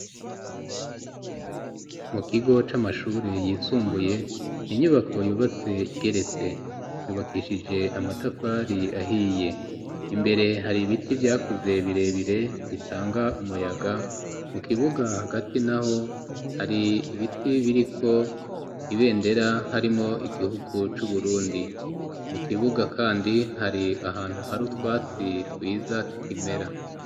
Mu kigo c'amashure yisumbuye inyubako yubatse igeretse yubakishije amatafari ahiye imbere hari ibiti vyakuze birebire ritanga umuyaga mu kibuga hagati na ho hari ibiti biriko ibendera harimwo wo igihugu c'uburundi mu kibuga, kandi hari ahantu hari utwatsi twiza tukimera.